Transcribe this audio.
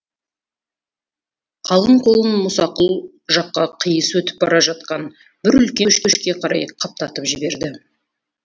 қалың қолын мұсақұл жаққа қиыс өтіп бара жатқан бір үлкен көшке қарай қаптатып жіберді